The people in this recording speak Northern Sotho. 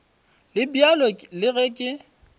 le bjalo le ge ke